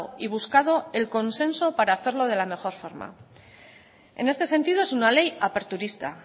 y buscado el consenso para hacerlo de la mejor forma en este sentido es una ley aperturista